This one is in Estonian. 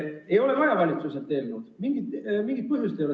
Ei ole vaja valitsuselt eelnõu, selleks ei ole mingit põhjust.